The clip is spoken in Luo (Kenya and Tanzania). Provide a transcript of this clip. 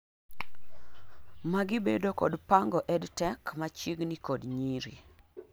magi bedo kod pango EdTech machiegni kod nyiri